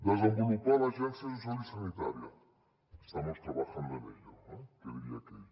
desenvolupar l’agència social i sanitària estamos trabajando en ello que diria aquell